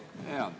Aivar Kokk, palun!